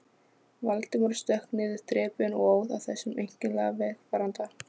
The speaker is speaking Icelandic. Valdimar stökk niður þrepin og óð að þessum einkennilega vegfaranda.